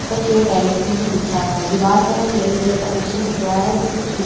ऊपर की और टेरेस भी हमें दिख रहा हैं दिवार पर हमें येल्लो कलर का पोस्टर दिख रहा हैं जिस पे कुछ लिखा --